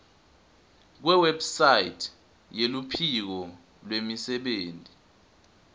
kuwebsite yeluphiko lwemisebenti